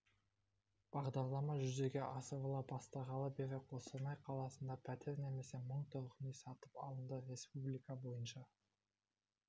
бағдарлама жүзеге асырыла бастағалы бері қостанай қаласында пәтер немесе мың тұрғын үй сатып алынды республика бойынша